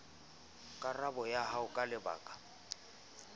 karabo ya hao ka lebaka